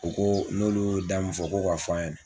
U ko n'olu y'o da min fɔ ko ka fɔ a ɲɛnɛ.